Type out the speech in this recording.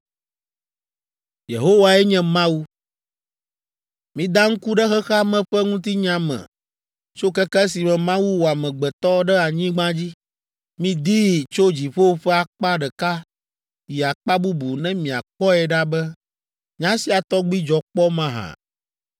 “Mida ŋku ɖe xexea me ƒe ŋutinya me tso keke esime Mawu wɔ amegbetɔ ɖe anyigba dzi. Midii tso dziƒo ƒe akpa ɖeka yi akpa bubu ne miakpɔe ɖa be nya sia tɔgbi dzɔ kpɔ mahã.